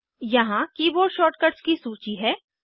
यहाँ keyboard shortcuts की सूची है